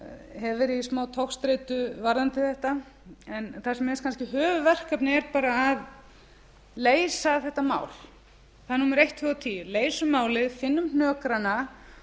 hef verið í smá togstreitu varðandi þetta en það sem er kannski höfuðverkefnið er bara að leysa þetta mál það er númer eitt tvö og tíu leysum málið finnum hnökrana